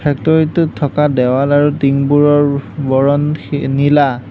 Factory টোত থকা দেৱাল আৰু টিং বোৰৰ বৰণ সে নীলা।